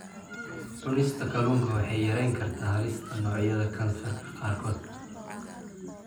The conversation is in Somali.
Cunista kalluunka waxay yarayn kartaa halista noocyada kansarka qaarkood.